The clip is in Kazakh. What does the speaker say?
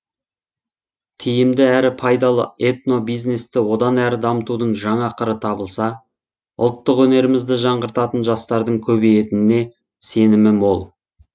тиімді әрі пайдалы этнобизнесті одан әрі дамытудың жаңа қыры табылса ұлттық өнерімізді жаңғыртатын жастардың көбейетініне сенімі мол